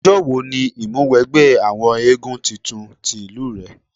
Ọjọ́ wo ni ìmúwẹgbẹ́ àwọn éégún tuntun ti ìlú rẹ?